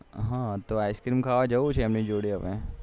હા તો ice cream ખાવા જવું છે એમ ની જોડે હવે